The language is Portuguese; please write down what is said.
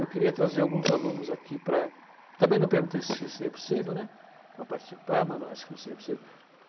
Eu queria trazer alguns alunos aqui para... Também não perguntei se seria possível, né, para participar, mas acho que não seria possível.